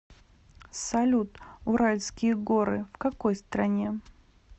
салют уральские горы в какой стране